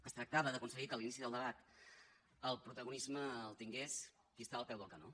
es tractava d’aconseguir que a l’inici del debat el protagonisme el tingués qui està al peu del canó